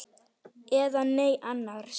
Eða nei annars.